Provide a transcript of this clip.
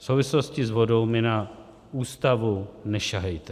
V souvislosti s vodou mi na Ústavu nesahejte.